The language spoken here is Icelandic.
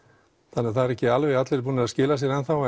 þannig það eru ekki alveg allir búnir að skila sér enn þá